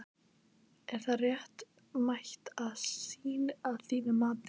Er það réttmæt sýn að þínu mati?